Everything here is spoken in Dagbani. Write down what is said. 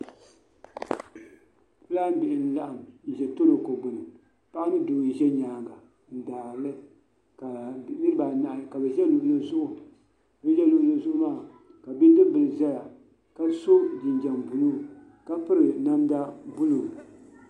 Fulaan bihi n laɣim, n za torokogbuni paɣi ni doo n zɛ nyaaŋŋɔ n daarili bi niriba anahi kabiza luɣili zuɣu bin zɛ luɣilizuɣu maa , ka bidibilizɛya. kaso jinjam blue ka piri namda blue.